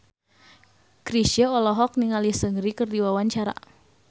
Chrisye olohok ningali Seungri keur diwawancara